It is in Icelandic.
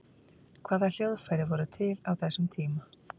hvaða hljóðfæri voru til á þessum tíma